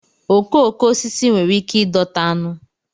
okooko osisi nwere ike ịdọta aṅụ